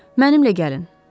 Mənimlə gəlin.